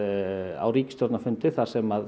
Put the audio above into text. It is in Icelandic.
á ríkisstjórnarfundi þar sem